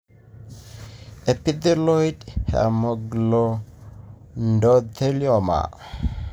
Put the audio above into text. Epithelioid hemangioendothelioma,